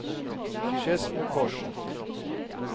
Skedsmokorset